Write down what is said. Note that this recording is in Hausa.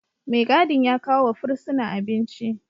Mai gadin ya kawo wa fursuna abinci